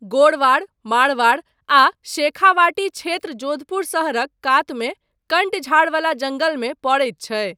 गोडवार, मारवाड़ आ शेखावाटी क्षेत्र जोधपुर शहरक कातमे कण्ट झाड़वला जङ्गलमे पड़ैत छै।